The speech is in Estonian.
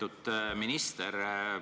Lugupeetud minister!